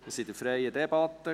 Wir führen eine freie Debatte.